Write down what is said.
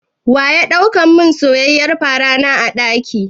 Waya ɗau mun soyayyiyar farana a ɗaki?